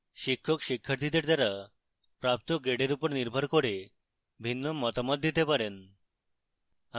শিক্ষক শিক্ষার্থীদের দ্বারা প্রাপ্ত grade উপর নির্ভর করে ভিন্ন মতামত দিতে পারেন